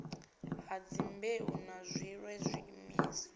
ha dzimbeu na zwiṋwe zwiimiswa